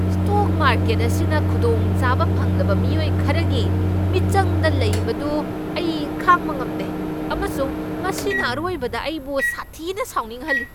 Stock market ꯑꯁꯤꯅ ꯈꯨꯗꯣꯡꯆꯥꯕ ꯐꯪꯂꯕ ꯃꯤꯑꯣꯏ ꯈꯔꯒꯤ ꯃꯤꯆꯪꯗ ꯂꯩꯕꯗꯨ ꯑꯩ ꯈꯥꯡꯕ ꯉꯝꯗꯦ ꯑꯃꯁꯨꯡ ꯃꯁꯤꯅ ꯑꯔꯣꯏꯕꯗ ꯑꯩꯕꯨ ꯁꯥꯊꯤꯅ ꯁꯥꯎꯅꯤꯡꯍꯜꯂꯤ꯫